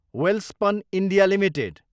Welspun India Ltd